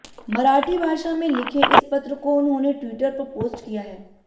मराठी भाषा में लिखे इस पत्र को उन्होंने ट्विटर पर पोस्ट किया है